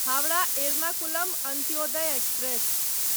Howrah Ernakulam Antyodaya express